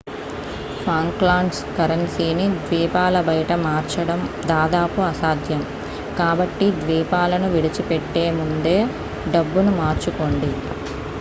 Falklands కరెన్సీని ద్వీపాల బయట మార్చడం దాదాపు అసాధ్యం కాబట్టి ద్వీపాలను విడిచిపెట్టే ముందే డబ్బును మార్చుకోండి